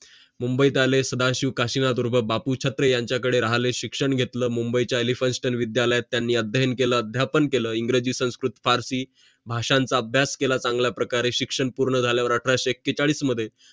मुंबईत आले सदाशिव कुशीवर बापू छत्ररे यांचा कड राहिले शिक्षण घेतले मुंबईचा elphinstone विद्यालयात त्यांनी अध्ययन केलं अध्यापन केलं इंग्रजी संस्कृत पारशी भाषांचं अभ्यास केलं चांगल्या प्रकारे शिक्षण पूर्ण झाल्यावर अठराशे एकेचाडीस मध्ये